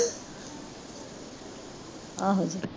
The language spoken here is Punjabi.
ਆਹੋ